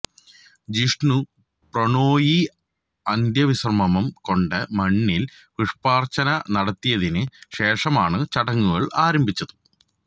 ജിഷ്ണു പ്രണോയി അന്ത്യവിശ്രമം കൊണ്ട മണ്ണില് പുഷ്പാർച്ചന നടത്തിയതിന് ശേഷമാണ് ചടങ്ങുകൾ ആരംഭിച്ചത്